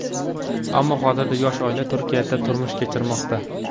Ammo hozirda yosh oila Turkiyada turmush kechirmoqda.